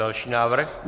Další návrh.